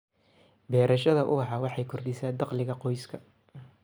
Beerashada ubaxa waxay kordhisaa dakhliga qoyska.